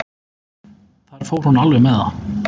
Þar fór hún alveg með það.